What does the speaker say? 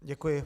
Děkuji.